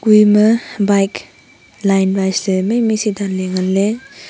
kue eyama bike line ma sa maimai se danley nganley.